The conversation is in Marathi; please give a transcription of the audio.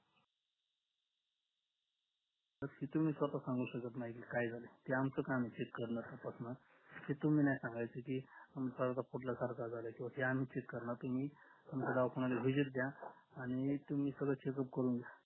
की तुम्ही स्वता सांगू शकत नाही की काय झालं ते आमचं काम हे check करण हे तुम्ही ना सांगायचं की परदा फुटलाय सारखा झालाय किंवा ते आम्ही चेक करणार की तुम्ही आमच्या दवाखान्याला visit द्या आणि तुम्ही सगळ checkup करून घ्या